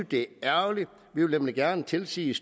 det er ærgerligt vi vil nemlig gerne tilsige